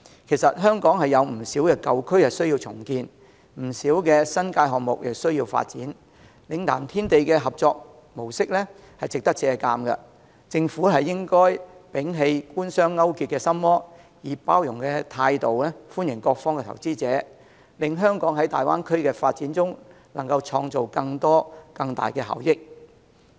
其實，香港有不少舊區需要重建，以及不少新界項目需要發展，嶺南天地的合作模式值得借鑒，政府應摒棄官商勾結的心魔，以包容的態度歡迎各方投資者，令香港在大灣區的發展中創造更多及更大效益。